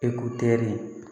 Eko teri